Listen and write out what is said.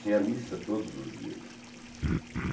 Tinha missa todos os dias.